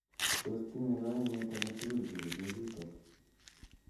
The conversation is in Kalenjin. Tos tinye kaimut agetugul �kerchech chutok.